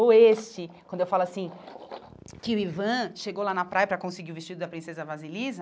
Ou este, quando eu falo assim, que o Ivan chegou lá na praia para conseguir o vestido da princesa Vasilisa,